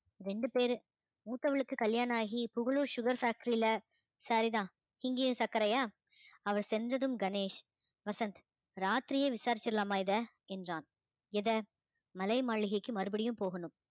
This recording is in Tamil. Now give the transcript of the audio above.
ரெண்டு பேரு மூத்தவளுக்கு கல்யாணம் ஆகி புகழூர் sugar factory ல சரி தான் இங்கேயும் சர்க்கரையா அவ செஞ்சதும் கணேஷ் வசந்த் ராத்திரியே விசாரிச்சிடலாமா இதை என்றான் எத மலை மாளிகைக்கு மறுபடியும் போகனும்